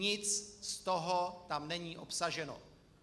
Nic z toho tam není obsaženo.